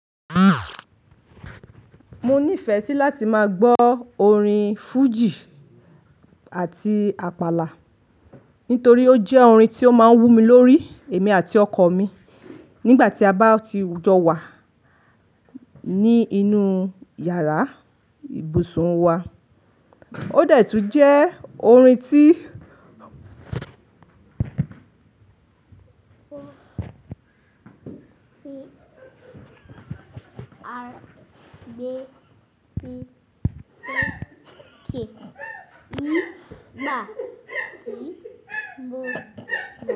Mo nífẹ̀ẹ́ sí láti máa gbọ́ orin fújì àti àpàlà nítorí ó jẹ́ orin tí ó máa ń hú mi lórí èmi àti ọkọ̀ mi nígbà tí a bá ti jọ wà ní inú yàrá ìbùsùn wa. Ó dẹ̀ tún jẹ́ orin tí.